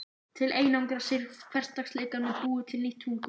Til að einangra sig frá hversdagsleikanum búið til nýtt tungumál